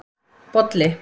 Bolli